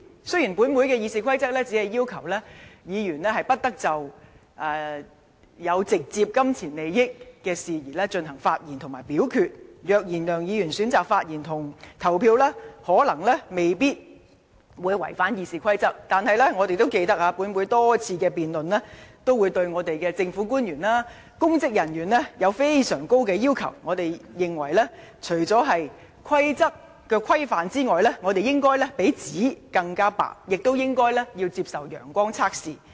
雖然本會的《議事規則》只要求議員不得就有直接金錢利益的事宜進行發言及表決，而即使梁議員選擇發言及投票，亦可能未必違反《議事規則》，但大家也記得，本會多次辯論均對政府官員和公職人員加諸非常高的要求，認為除了規則的規範外，應該比紙更白，亦應該接受"陽光測試"。